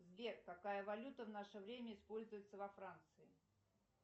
сбер какая валюта в наше время используется во франции